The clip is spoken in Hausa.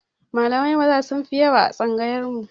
Malamai Maza sunfi yawa a tsangayar mu